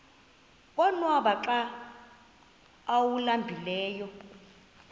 konwaba xa awuhlambileyo